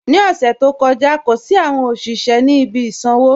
Ní ọṣẹ̀ tó kọja, kò sí awọn ọṣiṣẹ̀ ni ibi ìsànwo